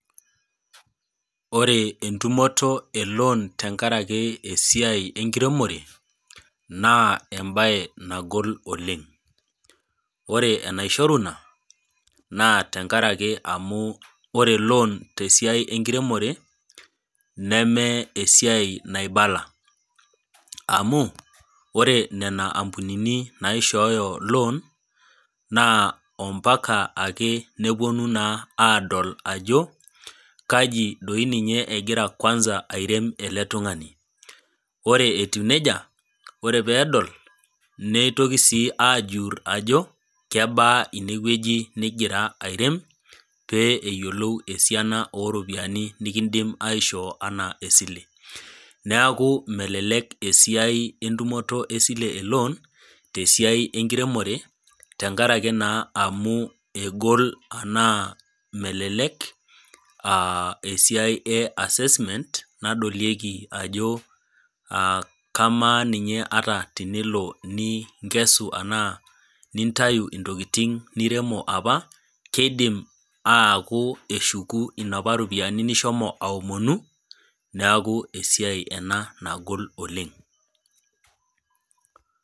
Ore entumoto eloan tenkaraki esiai enkiremore ,naa embae nagol oleng ,naa ore enaishoru ina naa ore loan tesiai enkiremore neme esiai naibala ,amu ore nena ampunini naishoyo loan naa mpaka neponu aadol ajo kaji doi ninye egira kwanza airem ele tungani ,ore etiu nejia ore pee edol neitoki ajur ajo kebaa ineweji ningira airem pee eyiolou esiana oropiyiani nikindim aishoo enaa esile .neeku melelek esiai entumoto esile eloon tesidai enkiremore tenkaraki naa melek esiai easesement nadolieki ajo kamaa ninye ata tenilo ninkesu enaa nintayu ntokiting niremo apa keidim aku keshuku Napa ropiyiani nishomo aomonu ,neeku esiai ena nagol oleng.